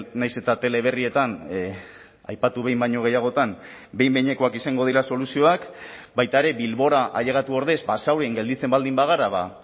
nahiz eta teleberrietan aipatu behin baino gehiagotan behin behinekoak izango dira soluzioak baita ere bilbora ailegatu ordez basaurin gelditzen baldin bagara ba